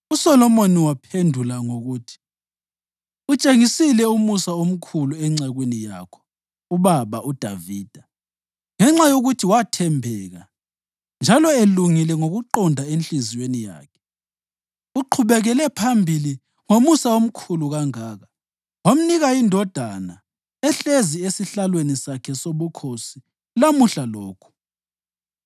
USolomoni waphendula ngokuthi, “Utshengisile umusa omkhulu encekwini yakho, ubaba uDavida, ngenxa yokuthi wathembeka njalo elungile ngokuqonda enhliziyweni yakhe. Uqhubekele phambili ngomusa omkhulu kangaka wamnika indodana ehlezi esihlalweni sakhe sobukhosi lamuhla lokhu.